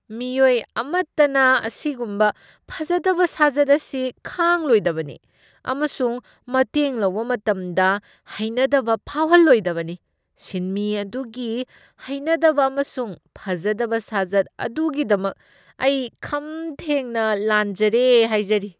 ꯃꯤꯑꯣꯏ ꯑꯃꯠꯇꯅ ꯑꯁꯤꯒꯨꯝꯕ ꯐꯖꯗꯕ ꯁꯥꯖꯠ ꯑꯁꯤ ꯈꯥꯡꯂꯣꯏꯗꯕꯅꯤ ꯑꯃꯁꯨꯡ ꯃꯇꯦꯡ ꯂꯧꯕ ꯃꯇꯝꯗ ꯍꯩꯅꯗꯕ ꯐꯥꯎꯍꯟꯂꯣꯏꯗꯕꯅꯤ ꯫ ꯁꯤꯟꯃꯤ ꯑꯗꯨꯒꯤ ꯍꯩꯅꯗꯕ ꯑꯃꯁꯨꯡ ꯐꯖꯗꯕ ꯁꯥꯖꯠ ꯑꯗꯨꯒꯤꯗꯃꯛ ꯑꯩ ꯈꯝꯊꯦꯡꯅ ꯂꯥꯟꯖꯔꯦ ꯍꯥꯏꯖꯔꯤ ꯫